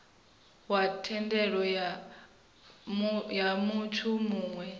wa thendelo ya muthu muwe